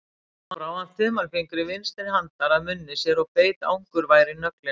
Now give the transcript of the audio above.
Svo brá hann þumalfingri vinstri handar að munni sér og beit angurvær í nöglina.